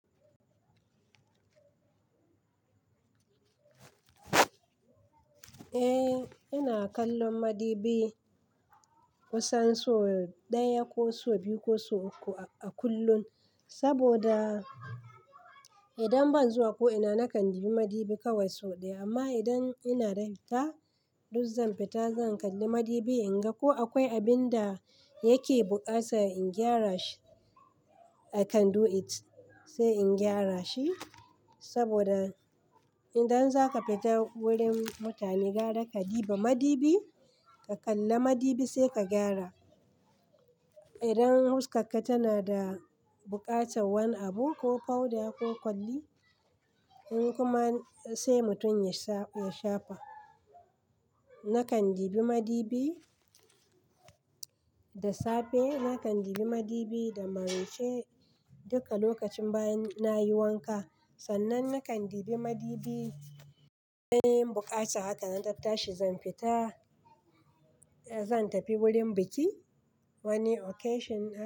Eh, ina kallon madibi. Kusan so ɗaya ko so biyu ko so uku a kullun. Saboda idan ban zuwa ko ina nakan dibi madibi kawai sau ɗaya, amma idan ina da hita, duk zan fita zan kalli madibi in ga ko akwai abin da yake buƙata in gyara shi. I can do it, sai in gyara shi. Saboda idan zaka fita wurin mutane gyara ka dibi madibi ka kalla madibi sai ka gyara. Idan huskakka tana da buƙatar wani abu ko powder ko kwalli, in kuma sai mutum ya shafa. Nakan ɗibi madibi. Da safe, nakan ɗibi madibi da maraice duka lokacin baya nayi wanka. Sannan nakan ɗibi madibi idan buƙatan haka nan ta tashi zan fita, zan tafi wurin biki wani occasion na.